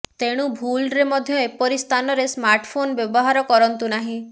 ତେଣୁ ଭୁଲରେ ମଧ୍ୟ ଏପରି ସ୍ଥାନରେ ସ୍ମାର୍ଟଫୋନ ବ୍ୟବହାର କରନ୍ତୁ ନାହିଁ